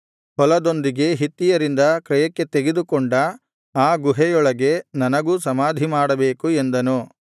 ಹೊಲದೊಂದಿಗೆ ಹಿತ್ತಿಯರಿಂದ ಕ್ರಯಕ್ಕೆ ತೆಗೆದುಕೊಂಡ ಆ ಗುಹೆಯೊಳಗೆ ನನಗೂ ಸಮಾಧಿಮಾಡಬೇಕು ಎಂದನು